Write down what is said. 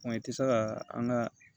i tɛ se ka an ka